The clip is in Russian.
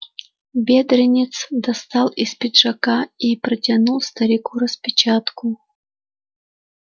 бедренец достал из пиджака и протянул старику распечатку